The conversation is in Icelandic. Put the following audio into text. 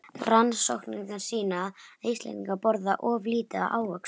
Rannsóknir sýna að Íslendingar borða of lítið af ávöxtum.